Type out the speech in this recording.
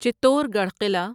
چتور گڑھ قلعہ